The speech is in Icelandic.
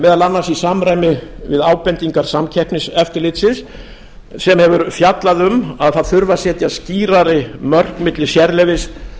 meðal annars í samræmi við ábendingar samkeppniseftirlitsins sem hefur fjallað um að það þurfi að setja þurfi skýrari mörk milli sérleyfis